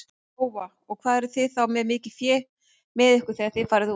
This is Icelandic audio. Lóa: Og hvað eruð þið þá með mikið fé með ykkur þegar þið farið út?